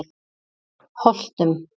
Holtum